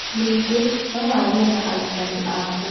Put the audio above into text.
Ningĩ, no warie na arutani aku.